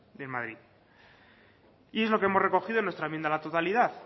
de madrid y es lo que hemos recogido en nuestra enmienda a la totalidad